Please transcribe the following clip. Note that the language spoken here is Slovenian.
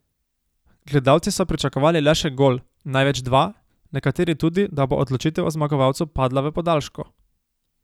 Gledalci so pričakovali le še gol, največ dva, nekateri tudi, da bo odločitev o zmagovalcu padla v podaljšku.